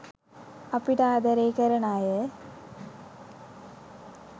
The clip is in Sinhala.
අපිට ආදරේ කරන අය